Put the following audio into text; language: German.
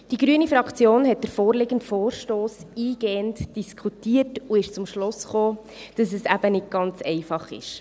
Die grüne Fraktion hat den vorliegenden Vorstoss eingehend diskutiert und ist zum Schluss gekommen, dass es nicht ganz einfach ist.